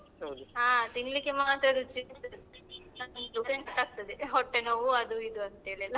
ಹಾ ತಿನ್ಲಿಕ್ಕೆ ಮಾತ್ರ ರುಚಿ ಇರ್ತದೆ ಆಗ್ತದೆ ಹೊಟ್ಟೆ ನೋವು ಅದು ಇದು ಅಂತ ಹೇಳಿ ಎಲ್ಲ.